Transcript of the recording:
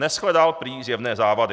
Neshledal prý zjevné závady.